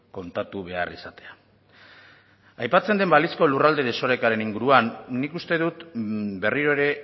kontatu behar izatea aipatzen den balizko lurralde desorekaren inguruan nik uste dut berriro ere